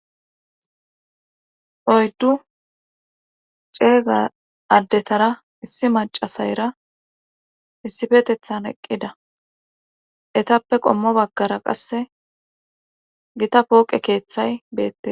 oyddu ceega addetara issi macasayra issifetethan eqqida etappe qommo baggara qasse gita pooqe keeththay beette